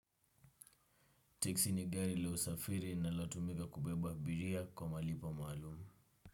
Texi ni gari la usafiri linalotumika kubeba abiria kwa malipo maalum.